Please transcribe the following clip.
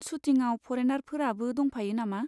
सुटिङाव फरेनारफोराबो दंफायो नामा?